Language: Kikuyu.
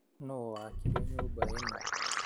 Nũwaakire nyũma ĩno?